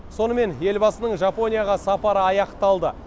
сонымен елбасының жапонияға сапары аяқталды